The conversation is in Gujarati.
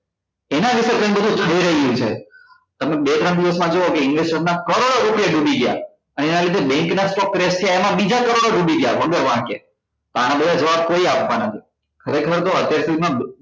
એના વિશે કઈ બધું થઈ રહ્યું છે તમે બે ત્રણ દિવસ માં જોવો કે investor ના કરોડો રૂપિયા ડૂબી ગયા એના લીધે bank ના બીજા કરોડો ડૂબી ગયા વગર વાંકે તો આના બધા જવાબ કોઈએ આપવા ના છે ખરેખર તો